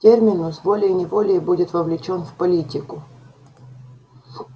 терминус волей-неволей будет вовлечён в политику